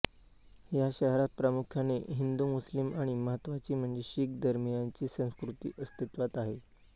या शहरात प्रामुख्याने हिंदूमुस्लिम आणि महत्वाची म्हणजे शीख धर्मियांची संस्कृती अस्तित्वात आहे